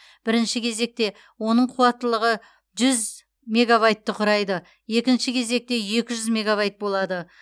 бірінші кезекте оның қуаттылығы жүз мегабайтты құрайды екінші кезекте екі жүз мегабайт болады